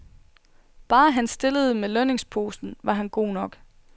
Bare han stillede med lønningsposen, var han god nok.